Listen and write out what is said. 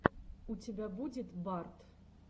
у тебя будет барт